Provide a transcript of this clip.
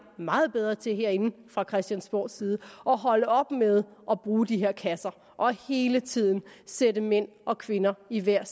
meget bedre til herinde fra christiansborgs side at holde op med at bruge de her kasser og hele tiden sætte mænd og kvinder i hver